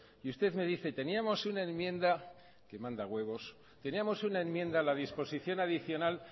y usted me dice teníamos una enmienda que manda huevos teníamos una enmienda a la disposición adicional